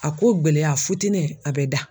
A ko gɛlɛya futɛnɛ a bɛ da.